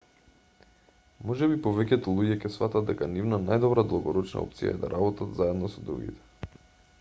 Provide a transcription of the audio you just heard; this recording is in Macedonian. можеби повеќето луѓе ќе сфатат дека нивна најдобра долгорочна опција е да работат заедно со другите